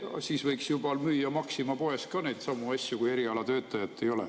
Siis võiks juba neidsamu asju müüa Maxima poes ka, kui erialatöötajat ei ole.